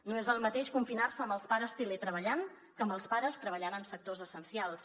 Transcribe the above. no és el mateix confinar se amb els pares teletreballant que amb els pares treballant en sectors essencials